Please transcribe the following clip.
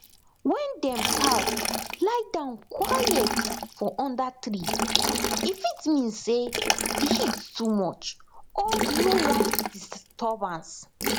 wen dem cow lie down quiet for under tree e fit mean say the heat too much or dey no wan disturbance